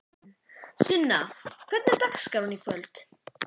Sunna: Hvernig var dagskráin í kvöld?